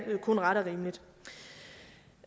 kun ret og rimeligt